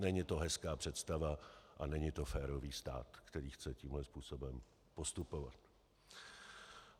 Není to hezká představa a není to férový stát, který chce tímto způsobem postupovat.